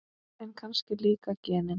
En kannski líka genin.